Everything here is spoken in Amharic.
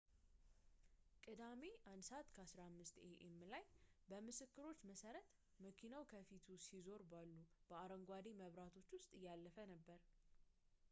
ቅዳሜ 1:15 ኤ.ኤም ላይ በምስክሮች መሠረት መኪናው ከፊቱ ሲዞር ባሱ በአረንጓዴ መብራት ውስጥ እያለፈ ነበር